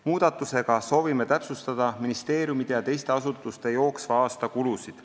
Muudatusega soovime täpsustada ministeeriumide ja teiste asutuste jooksva aasta kulusid.